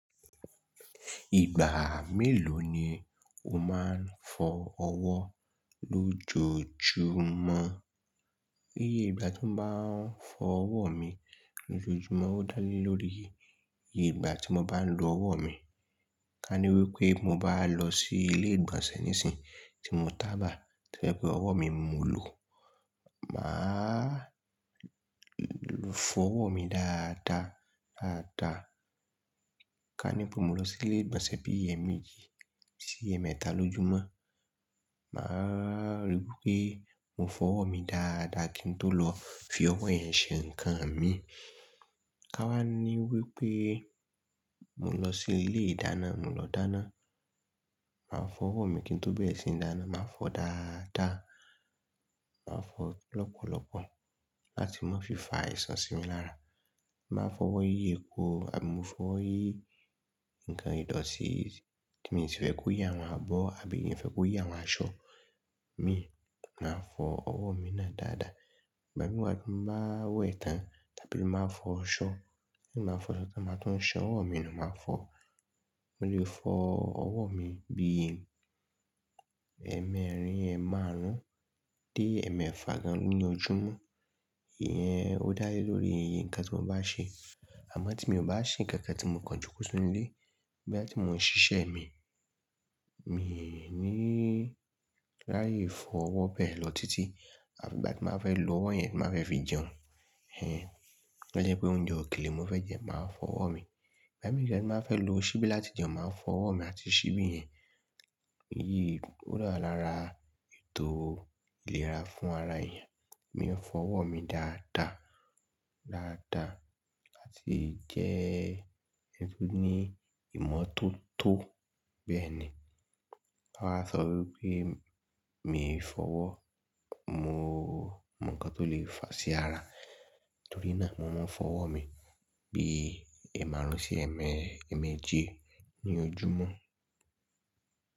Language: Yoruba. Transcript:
Ìgbà mélòó ni o máa ń fọ ọwọ́ lójoojúmọ́? Iye ìgbà tí mo bá ń fọ ọwọ́ mi lójoojúmọ́ ó dá lé lórí iye ìgbà tí mo bá ń lo ọwọ́ mi. Ká ní wípé mo bá lọ sí ilé ìgbọ̀nsẹ̀ níìsín tí mo tàbá, tó jẹ́ pé ọwọ́ mi mo lò, màá fọ ọwọ́ mi dáadáa, dáadáa. Ká ní pé mo lọ sí ilé ìgbọ̀nsẹ̀ bí i ẹ̀mejì sí ẹ̀mẹta lójúmọ́, màá rí wípé mo fọ ọwọ́ mi dáadáa kí n tó lọ fi ọwọ́ yẹn ṣe ǹkan mi. Ká wá ní wípé mo lọ sí ilé ìdáná, mo lọ dáná, màá fọ ọwọ́ mi kí n tó bẹ̀rẹ̀ sí ní dáná, màá fọ ọ́ dáadáa, màá fọ ọ́ lọ́pọ̀lọ́pọ̀ láti má fi fa àìsàn sí mi lára. N baa fọwọ́ yí epo àbí mo fọ ọwọ́ yí ǹkan ìdọ̀tí tí mi sì fẹ́ kó yi àwọn abọ́ àbí n fẹ́ kó yá àwọn aṣọ mi, màá fọ ọwọ́ mi náà dáadáa. Ìgbami wá tí n bá wẹ̀ tán tàbí tí n bá fọ aṣọ, ti n bá fọ aṣọ tí mo bá tún san ọwọ́ mi nu máa fọ. Mo lè fọ ọwọ́ mi bí i ẹ̀ẹ̀mẹrin, ẹ́márùn-ún dé ẹ̀ẹ̀mẹfà gan ní ojúmọ́. Ìyẹn ó dá lé lórí ǹkan tí mo bá ṣe. Àmọ́ tí mi ò bá ṣe ǹkankan tí mò ń kàn joko sínú ilé, bóyá tí mò ń ṣiṣẹ́ mi, mi ò ní láyé fọ ọwọ́ bẹ lọ títí. Àbí ìgbà tí n baa fẹ́ lo ọwọ́ yẹn tí n baa fẹ́ fi jẹun, hẹ́n tí ó bá jẹ́ pé oúnjẹ òkèlè n mo fẹ́ jẹ, màá fọ ọwọ́ mi. Ìgbà mi de ni n baa fẹ́ lo ṣíbí láti jẹun, màá fọ ọwọ́ mi àti ṣíbí yẹn. Èyí ó wà lára ètò ìlera fún ara èèyàn. Èmi ń fọ ọwọ́ mi dáadáa, dáadáa láti jẹ́ ẹni tó ní ìmọ̀ tó tọ́ bẹ́ẹ̀ ni. Tan bá sọ wípé mi ò fọ ọwọ́, mo mọ ǹkan tó lè fà sí ara, torí náà mò ń fọ ọwọ́ mi bí i ẹ́ márùn-ún sí i ẹ̀ẹ̀mejì ní ojúmọ́.